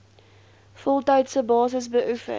voltydse basis beoefen